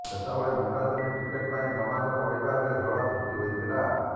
ସେତେବେଳେ ନିର୍ବାଚନୀ ଟିକେଟ୍ ପାଇଁ ଗମାଙ୍ଗ ପରିବାରରେ ଝଡ଼ ସୃଷ୍ଟି ହୋଇଥିଲା